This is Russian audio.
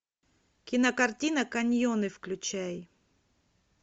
кинокартина каньоны включай